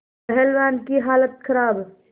पहलवान की हालत खराब